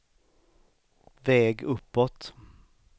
väg uppåt